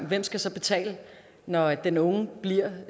hvem skal så betale når den unge bliver